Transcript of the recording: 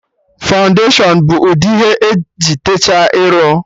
Fọụndashion bụ udi ihe eji teecha iru